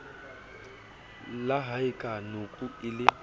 la haeka nakoeo e le